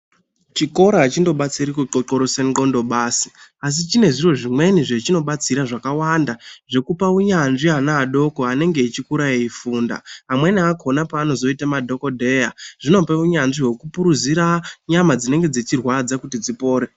Chikora achindobatsiri kuxoxorosa ngqondo basi, asi chine zviro zvimweni zvechinobatsira zvakawanda. Zvekupa unyanzvi ana adoko anenge echikura eifunda. Amweni akhona peanozoita madhokodheya zvinope unyanzvi wekupuruzira nyama dzinenge dzichirwadza kuti dzipore.